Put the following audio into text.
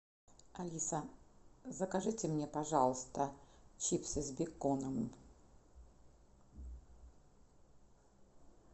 алиса закажите мне пожалуйста чипсы с беконом